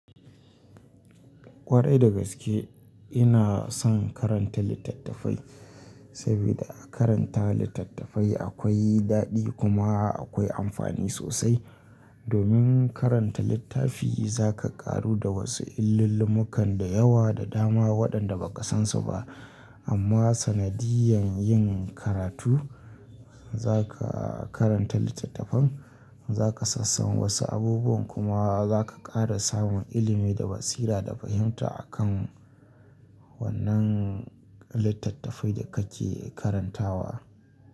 Kwarai da gaske ina son karanta littattafai, saboda a karanta littattafai akwai daɗi kuma akwai amfani sosai. Domin karanta littafi za ka ƙaru da wasu illul lumukan da yawa da dama waɗanda ba ka san su ba. Amma sanadiyan yin karatu za ka karanta littattafan, za ka sassan wasu abubuwan kuma za ka ƙara samun ilimi da basira da fahimta akan wannan littattafai da kake karantawa.